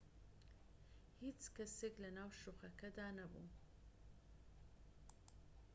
هیچ کەسێك لەناو شوقەکەدا نەبوو